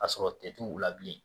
A sɔrɔ tɛ t'u la bilen